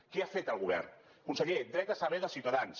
què ha fet el govern conseller dret a saber dels ciutadans